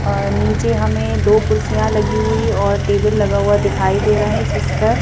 अअनीचे हमें दो कुर्सियां लगी हुई और टेबल लगा हुआ दिखाई दे रहा है जिस पर--